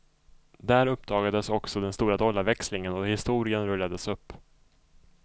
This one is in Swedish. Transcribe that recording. Där uppdagades också den stora dollarväxlingen och historien rullades upp.